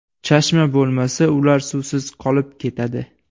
Chashma bo‘lmasa, ular suvsiz qolib ketadi.